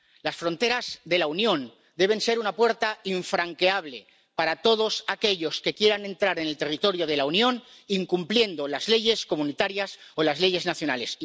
Las fronteras de la Unión deben ser una puerta infranqueable para todos aquellos que quieran entrar en el territorio de la Unión incumpliendo las leyes comunitarias o las leyes nacionales.